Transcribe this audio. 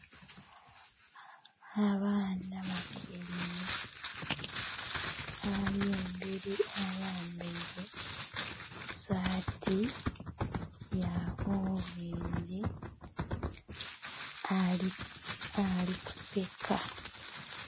Abaana batyaime ali emberi ayambaire saati ya olwengi ali kuseka.